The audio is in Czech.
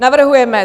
Navrhujeme: